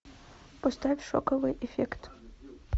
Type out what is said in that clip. поставь шоковый эффект